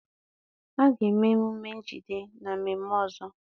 A ga-eme nnukwu njide na mmemme ọzọ